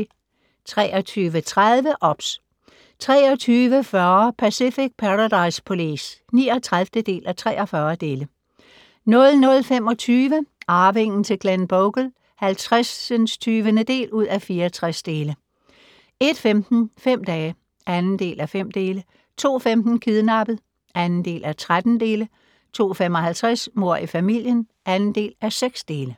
23:30: OBS 23:40: Pacific Paradise Police (39:43) 00:25: Arvingen til Glenbogle (50:64) 01:15: Fem dage (2:5) 02:15: Kidnappet (2:13) 02:55: Mord i familien (2:6)